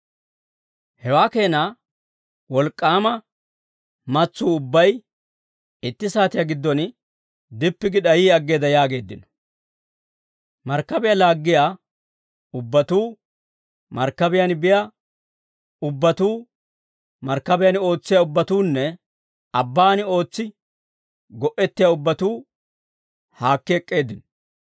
Hawaa keena wolk'k'aama mas'uu ubbay, itti saatiyaa giddon, dippi gi d'ayi aggeedda» yaageeddino. Markkabiyaa laaggiyaa ubbatuu, markkabiyaan biyaa ubbatuu, markkabiyaan ootsiyaa ubbatuunne abbaan ootsi go"ettiyaa ubbatuu haakki ek'k'eeddino.